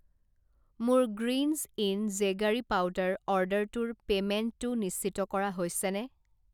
মোৰ গ্ৰীণ্জ ইন জেগাৰী পাউদাৰ অৰ্ডাৰটোৰ পে'মেণ্টটো নিশ্চিত কৰা হৈছেনে?